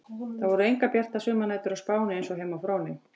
Það voru engar bjartar sumarnætur á Spáni eins og heima á Fróni.